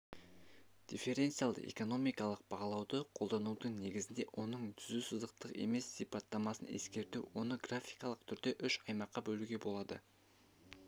дифференциалды экономикалық бағалауды қолданудың негізінде оның түзу сызықтық емес сипаттамасын ескеруге оны графикалық түрде үш аймаққа бөлуге болады